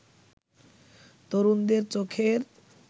তরুণদের চোখের